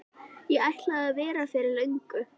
Ég ætlaði að vera fyrir löngu.